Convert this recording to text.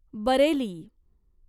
Bareilly